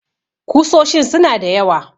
Kusoshin su na da yawa